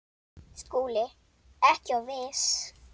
SKÚLI: Ekki of viss!